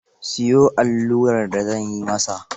Siyo allurar da zan yi masa.